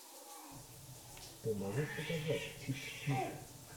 ты можешь показать чик флик